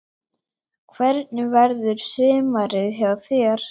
Hvernig verður sumarið hjá þér?